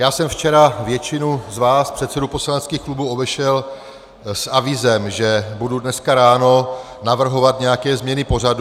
Já jsem včera většinu z vás předsedů poslaneckých klubů obešel s avízem, že budu dneska ráno navrhovat nějaké změny pořadu.